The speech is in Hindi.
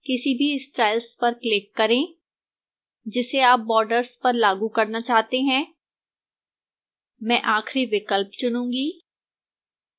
किसी भी styles पर click करें जिसे आप borders पर लागू करना चाहते हैं मैं आखिरी विकल्प चुनूंगी